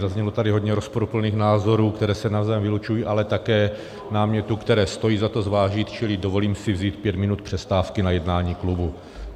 Zaznělo tady hodně rozporuplných názorů, které se navzájem vylučují, ale také námětů, které stojí za to zvážit, čili dovolím si vzít pět minut přestávky na jednání klubu.